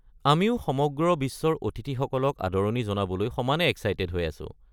আমিও সমগ্ৰ বিশ্বৰ অতিথিসকলক আদৰণি জনাবলৈ সমানে এক্সাইটেড হৈ আছো।